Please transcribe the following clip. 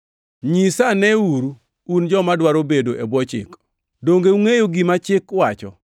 Nyisaneuru un joma dwaro bedo e bwo chik, donge ungʼeyo gima chik wacho?